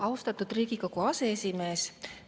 Austatud Riigikogu aseesimees!